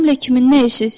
Mənimlə kimin nə işi?